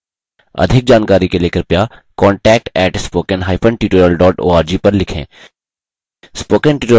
अधिक जानकारी के लिए कृपया contact @spokentutorial org पर लिखें